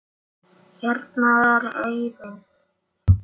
Hérna er eyrin.